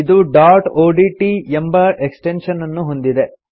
ಇದು dot O D T ಎಂಬ extension ಅನ್ನು ಹೊಂದಿದೆ